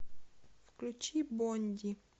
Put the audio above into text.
включи бонди